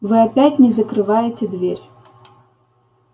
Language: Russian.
вы опять не закрываете дверь